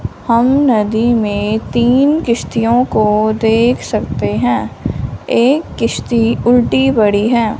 हम नदी में तीन किश्तियों को देख सकते हैं एक किश्ती उल्टी पड़ी है।